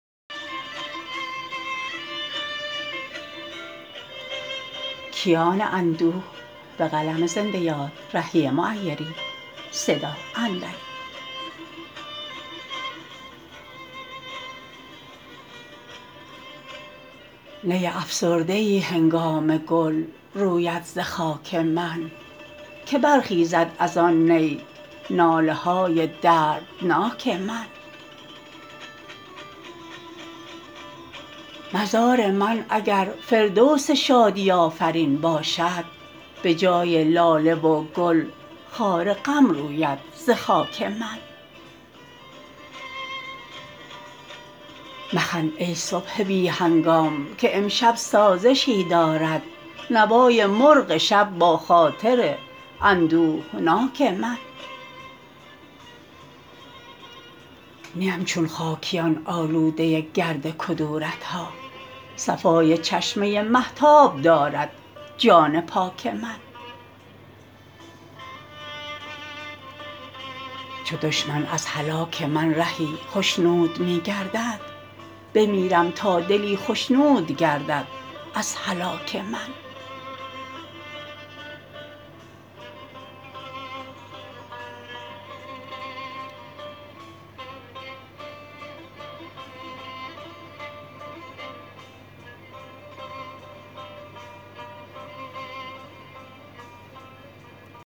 نی افسرده ای هنگام گل روید ز خاک من که برخیزد از آن نی ناله های دردناک من مزار من اگر فردوس شادی آفرین باشد به جای لاله و گل خار غم روید ز خاک من مخند ای صبح بی هنگام که امشب سازشی دارد نوای مرغ شب با خاطر اندوهناک من نیم چون خاکیان آلوده گرد کدورت ها صفای چشمه مهتاب دارد جان پاک من چو دشمن از هلاک من رهی خشنود می گردد بمیرم تا دلی خشنود گردد از هلاک من